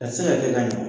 A tɛ se ka kɛ ka ɲa